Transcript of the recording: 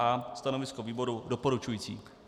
A. Stanovisko výboru doporučující.